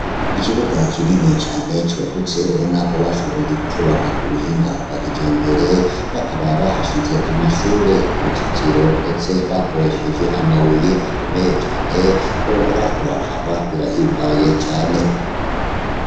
ikibuga kinini cane cagutse ubona ko bashoboye kucubaka kubuhinga bwa kijambere, bakaba bahashize amashure uruzitiro ndetse bakoresheje amabuye akomeye cane wohora uraraba birahimbaye cane.